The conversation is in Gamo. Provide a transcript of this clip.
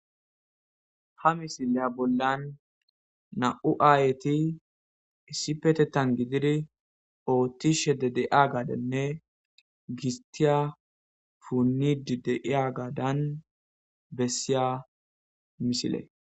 ha misileya bollan na7u aayeti issipetetan gididi ooththishe de de7a gadanne gistiya puunnidi deiya gaadan bessiya misile